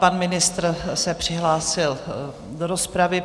Pan ministr se přihlásil do rozpravy.